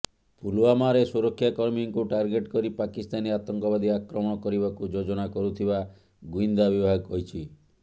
ପୁଲୱାମାରେ ସୁରକ୍ଷାକର୍ମୀଙ୍କୁ ଟାର୍ଗେଟ୍ କରି ପାକିସ୍ତାନୀ ଆତଙ୍କବାଦୀ ଆକ୍ରମଣ କରିବାକୁ ଯୋଜନା କରୁଥିବା ଗୁଇନ୍ଦା ବିଭାଗ କହିଛି